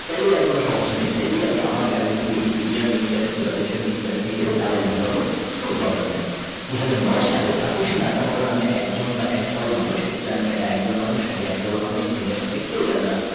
তাইলে আর কোন সমস্যা নেই তাইলে আমি আমার Currency কে দুনিয়ার মেন্ Currency হিসাবে বা দেশের মেন Currency হিসাবে চালায় দিতে পারব কোন Problem নাই দুই হাজার নয় সালে তাতোসি নাকা মোটা নামে একজন বা একদল মানুষ কেউ জানেনা এটা একজন মানুষ না একদল মানুষ ছেলে না মেয়ে কেউ জানে না।